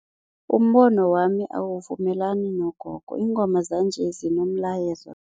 Umbono wami awuvumelani nogogo, ingoma zanje zinomlayezo.